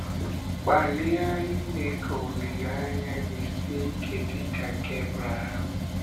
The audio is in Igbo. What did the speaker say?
Gbalịa ime ka olileanya gị sie ike dị ka nke Ebrehàm.